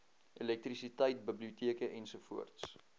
elektrisiteit biblioteke ens